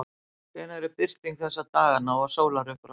hvenær er birting þessa dagana og sólarupprás